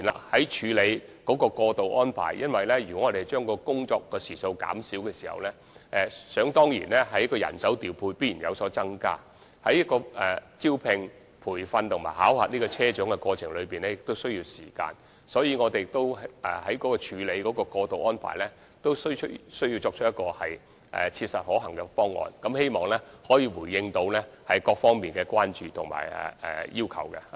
在處理過渡方排方面，如果將工作時數減少，人手方面必然須有所增加，而招聘、培訓和考核車長的過程也需要時間，所以，我們在處理過渡安排時，也需要提出切實可行的方案，回應各方面的關注和要求。